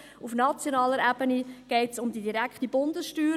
Auf nationaler Ebene geht es um die direkte Bundessteuer.